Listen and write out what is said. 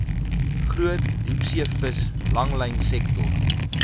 groot diepseevis langlynsektor